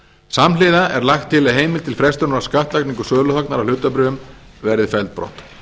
samhliða er lagt til að heimild til frestunar á skattlagningu söluhagnaðar af hlutabréfum verði felld brott